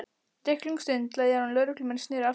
Drykklöng stund leið áður en lögréttumenn sneru aftur.